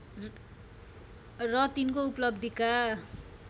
र तिनको उपलब्धिका